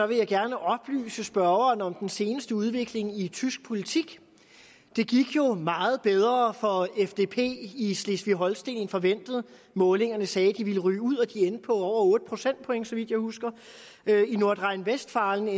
vil jeg gerne oplyse spørgeren om den seneste udvikling i tysk politik det gik jo meget bedre for fdp i slesvig holsten end forventet målingerne sagde de ville ryge ud og de endte på over otte procentpoint så vidt jeg husker i nordrhein westfalen